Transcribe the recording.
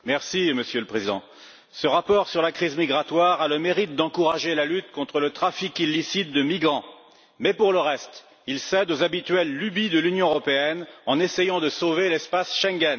Monsieur le Président, ce rapport sur la crise migratoire a le mérite d'encourager la lutte contre le trafic illicite de migrants mais, pour le reste, il cède aux habituelles lubies de l'Union européenne en essayant de sauver l'espace Schengen.